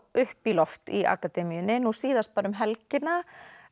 upp í loft í akademíunni nú síðast bara um helgina